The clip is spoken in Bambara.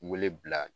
Wele bila